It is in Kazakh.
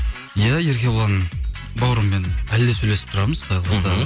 иә еркебұлан бауырыммен әлі де сөйлесіп тұрамыз құдай қаласа